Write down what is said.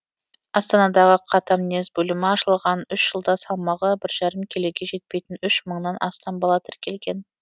астанадағы катамнез бөлімі ашылған жылда салмағы бір жарым келіге жетпейтін үш мыңнан астам бала тіркелген